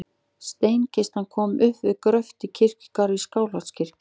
Steinkistan kom upp við gröft í kirkjugarði Skálholtskirkju.